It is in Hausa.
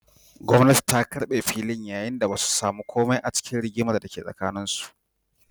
Gwamnati ta karbe filin, yayin da ba su samu komai ba a cikin rigimar da ke tsakaninsu.